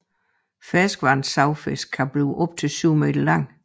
Ferskvandssavfisken kan blive op til 7 meter lang